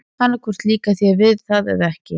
Annað hvort líkar þér við það eða ekki.